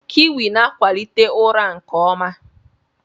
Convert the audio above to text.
Kiwi na-akwalite ụra nke ọma.